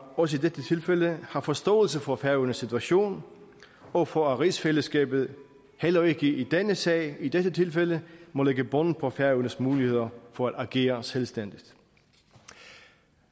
også i dette tilfælde har forståelse for færøernes situation og for at rigsfællesskabet heller ikke i denne sag i dette tilfælde må lægge bånd på færøernes muligheder for at agere selvstændigt